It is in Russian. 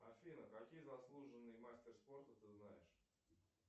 афина какие заслуженные мастер спорта ты знаешь